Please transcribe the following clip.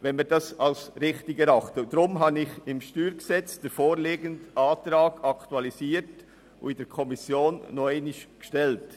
Deshalb habe ich beim StG den vorliegenden Antrag aktualisiert und ihn in der Kommission nochmals gestellt.